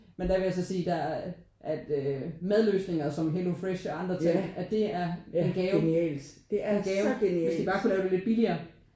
Men der vil jeg så sige der at øh madløsninger som Hello Fresh og andre ting at det er en gave. En gave hvis de bare kunne lave det lidt billigere